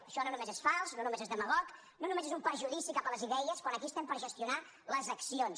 això no només és fals no només és demagog no només és un perjudici cap a les idees quan aquí estem per gestionar les accions